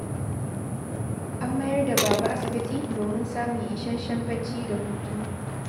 An mayar da Baba asibiti, domin samun isasshen bacci da hutu